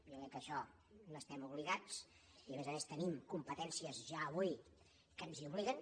jo crec que a això hi estem obligats i a més a més tenim competències ja avui que ens hi obliguen